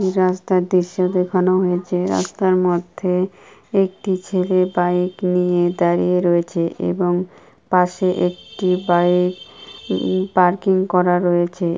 এই রাস্তার দৃশ্য দেখানো হয়েছে রাস্তার মধ্যে একটি ছেলে বাইক নিয়ে দাঁড়িয়ে রয়েছে এবং পাশে একটি বাইক উম পার্কিং করা রয়েছে।